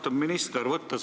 Austatud minister!